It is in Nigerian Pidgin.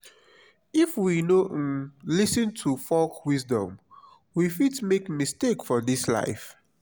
if we no um lis ten to folk wisdom we fit make mistake for dis life.